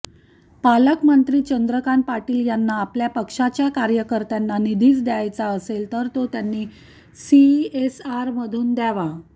पालकमंत्री चंद्रकांत पाटील यांना आपल्या पक्षाच्या कार्यकर्त्यांना निधीच द्यावयाचा असेल तर तो त्यांनी सीएसआरमधून द्यावा